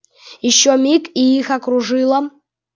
ещё миг и их окружила